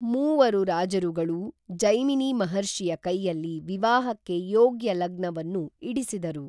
ಮೂವರು ರಾಜರುಗಳೂ ಜೈಮಿನಿ ಮಹರ್ಷಿಯ ಕೈಯಲ್ಲಿ ವಿವಾಹಕ್ಕೆ ಯೋಗ್ಯ ಲಗ್ನವನ್ನು ಇಡಿಸಿದರು